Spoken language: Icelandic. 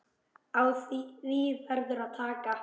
Á því verður að taka.